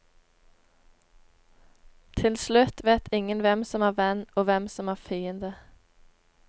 Til slutt vet ingen hvem som er venn og hvem som er fiende.